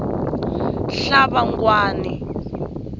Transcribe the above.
hlabangwani